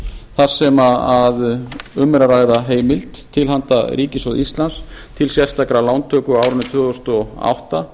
þar sem um er að ræða heimild til handa ríkissjóði íslands til sérstakrar lántöku á árinu tvö þúsund og átta